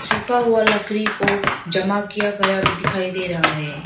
झुका हुआ लकड़ी को जमा किया गया भी दिखाई दे रहा है।